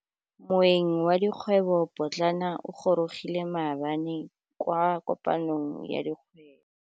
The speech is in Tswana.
Moêng wa dikgwêbô pôtlana o gorogile maabane kwa kopanong ya dikgwêbô.